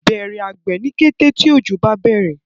Bẹrẹ àgbè ní kété tí ojo bá bẹrẹ